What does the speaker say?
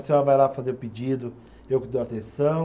A senhora vai lá fazer pedido, eu que dou atenção.